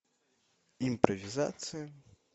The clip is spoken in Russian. импровизация